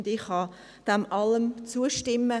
Ich kann dem allem zustimmen.